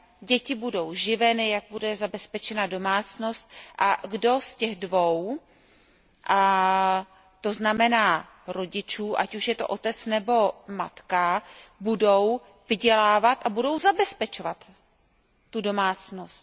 děti budou živeny, jak bude zabezpečena domácnost a kdo z těch dvou rodičů, ať už je to otec nebo matka, bude vydělávat a bude zabezpečovat domácnost.